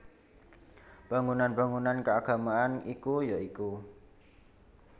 Bangunan bangunan keagamaan iku ya iku